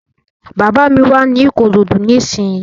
Bàbá mi wà ní Ìkòròdú ní ìsínyi